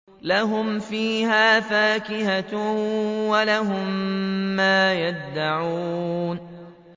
لَهُمْ فِيهَا فَاكِهَةٌ وَلَهُم مَّا يَدَّعُونَ